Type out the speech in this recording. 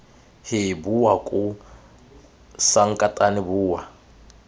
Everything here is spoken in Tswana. hee bowa koo sankatane bowa